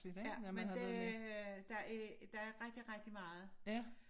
Ja men det der er der er rigtig rigtig meget